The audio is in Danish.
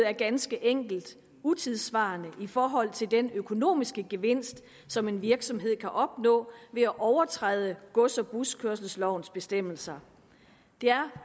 er ganske enkelt utidssvarende i forhold til den økonomiske gevinst som en virksomhed kan opnå ved at overtræde gods og buskørselslovens bestemmelser det er